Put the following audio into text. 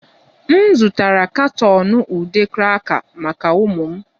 M zụtara katọn nke ude cracker maka ụmụ m